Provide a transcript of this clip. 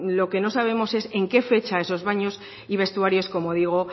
lo que no sabemos es en qué fecha esos baños y vestuarios como digo